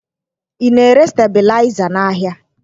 Ị na-ere stebilaịza n'ahịa?